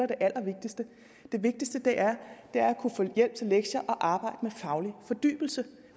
det allervigtigste det vigtigste er er at kunne få hjælp til lektier og arbejde med faglig fordybelse